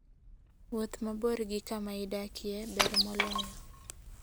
Wuoth mabor gi kama idakie ber moloyo.